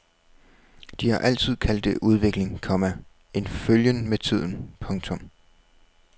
De har altid kaldt det udvikling, komma en følgen med tiden. punktum